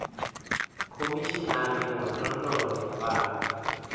khomishinari wa ndondolo ya vhana